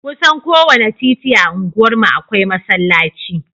Kusan kowane titi a unguwarmu akwai masallaci